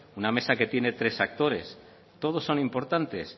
una mesa que tiene tres actores todos son importantes